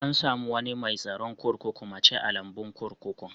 An samu wanni mai tsaron kurkuku muce a'lambun kurkukun.